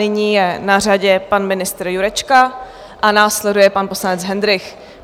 Nyní je na řadě pan ministr Jurečka a následuje pan poslanec Hendrych.